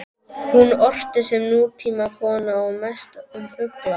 Hún orti sem nútímakona og mest um fugla.